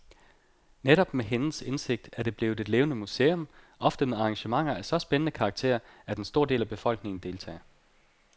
Netop med hendes indsigt er det blevet et levende museum, ofte med arrangementer af så spændende karakter, at en stor del af befolkningen deltager.